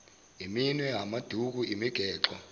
iminwe amaduku imigexo